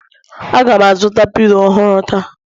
Aga m azụta pilo ọhụrụ taa